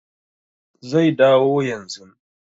Zai dawo yanzun